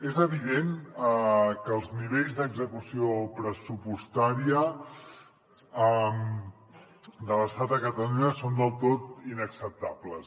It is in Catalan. és evident que els nivells d’execució pressupostària de l’estat a catalunya són del tot inacceptables